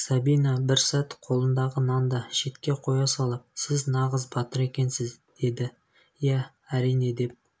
сабина бір сәт қолындағы нанды шетке қоя салып сіз нағыз батыр екенсіз деді иә әрине деп